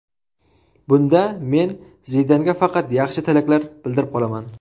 Bunda men Zidanga faqat yaxshi tilaklar bildirib qolaman.